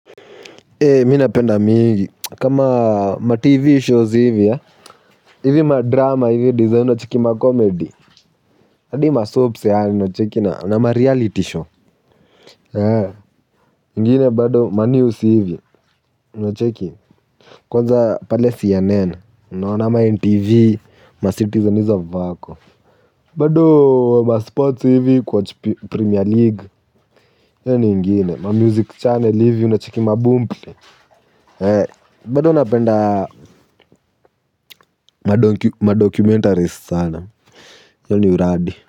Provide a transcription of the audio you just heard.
Mi napenda mingi, kama ma TV shows hivi ya, hivi ma drama hivi design unacheki ma comedy, hadi ma soapsi hivi nacheki na na ma reality show. Ngine bado ma news hivi, na cheki, kwanza pale CNN, ama NTV, ma citizenies hizo Vako. Bado ma sports hivi, kuwatch premier league, hiyo ni ingine, ma music channel hivi, na chiki maboom play. Eh bado napenda madoki madocumentari sana hiyo ni uradi.